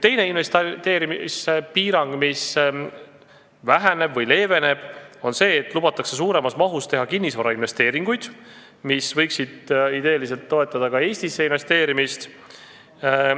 Teine investeerimispiirang, mis leeveneb, on see, et lubatakse suuremas mahus teha kinnisvarainvesteeringuid, mis võiksid idee poolest toetada ka Eestisse investeerimist.